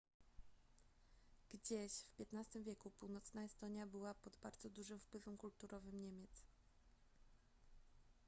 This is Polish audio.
gdzieś w xv wieku północna estonia była pod bardzo dużym wpływem kulturowym niemiec